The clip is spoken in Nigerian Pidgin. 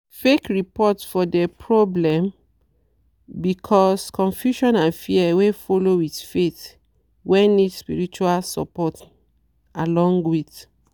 fake report for de problem be cause confusion and fear wey follow with faith wey need spirtual support along with.